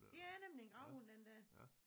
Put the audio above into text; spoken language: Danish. Det er nemlig en gravhund den der